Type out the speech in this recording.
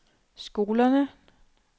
skolerne